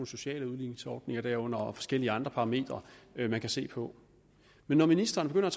sociale udligningsordninger derunder og forskellige andre parametre man kan se på men når ministeren begynder